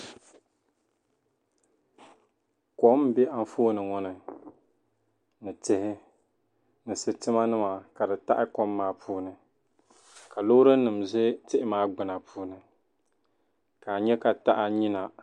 Kom m-be anfooni ŋɔ ni ni tihi ni sitimanima ka di taɣi kom maa puuni ka loorinima za tihi maa gbina puuni ka a nya ka taha nyina.